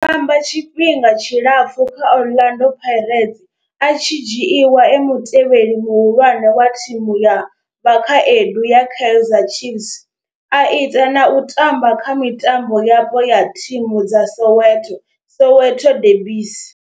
O tamba tshifhinga tshilapfhu kha Orlando Pirates, a tshi dzhiiwa e mutevheli muhulwane wa thimu ya vhakhaedu ya Kaizer Chiefs, a ita na u tamba kha mitambo yapo ya thimu dza Soweto Soweto derbies.